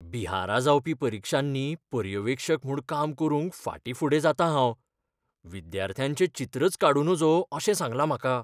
बिहारा जावपी परिक्षांनी पर्यवेक्षक म्हूण काम करूंक फाटींफुडें जातां हांव. विद्यार्थ्यांचें चित्रच काडूं नजो अशें सांगलां म्हाका.